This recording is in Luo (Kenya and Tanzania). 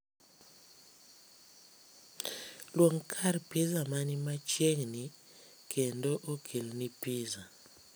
Luong kar pizza man machiegni kendo okelni pizza